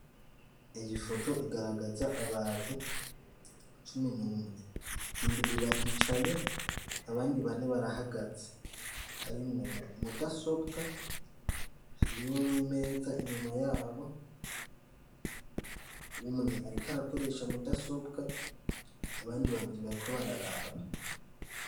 Iyi foto igaragaza abantu cumi n'umwe. Indwi baricaye, abandi bane barahagaze. Harimwo mudasobwa, harimwo n'imeza inyuma yabo. Umwe ariko arakoresha mudasobwa, abandi babiri bariko bararaba.